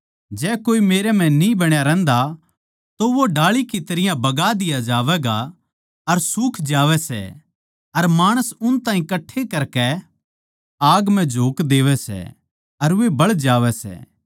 जै कोए मेरै म्ह न्ही बण्या रहंदा तो वो डाळी की तरियां बगा दिया जावैगा अर सुख जावै सै अर माणस उन ताहीं कट्ठे करकै आग म्ह झोक देवै सै अर वे बळ जावै सै